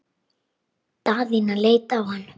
Daðína leit á hann.